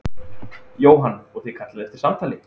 Jóhann: Og þið kallið eftir samtali?